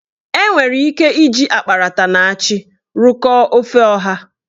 Enwere ike iji akparata na achị rụkọọ ofe ọha.